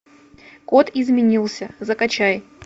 код изменился закачай